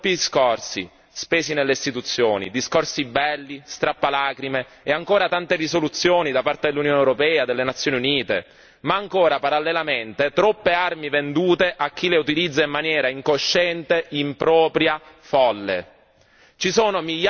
Tanti, troppi discorsi spesi nelle istituzioni, discorsi belli, strappalacrime, e ancora tante risoluzioni da parte dell'Unione europea, delle Nazioni Unite, ma ancora, parallelamente, troppe armi vendute a chi le utilizza in maniera incosciente, impropria, folle.